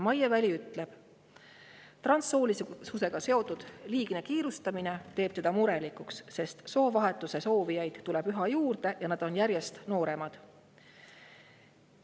Maie Väli ütleb, et transsoolisusega seotud liigne kiirustamine teeb teda murelikuks, sest soovahetuse soovijaid tuleb üha juurde ja nad on järjest nooremad.